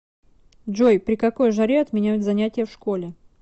джой при какой жаре отменяют занятия в школе